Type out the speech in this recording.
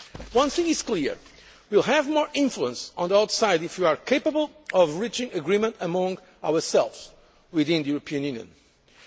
level. One thing is clear we will have more influence on the outside if we are capable of reaching agreement among ourselves, within the European